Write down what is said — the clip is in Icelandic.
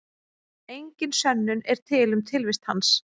Engin sönnun er til um tilvist hans.